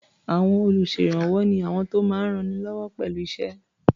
À̀wọn olùṣèrànwọ́ ni àwọn tó máa ń rannilọ́wọ́ pẹ̀lú iṣẹ́.